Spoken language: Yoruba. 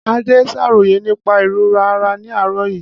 Ade ṣàròyé nípa ìrora ara ní àárọ̀ yìí.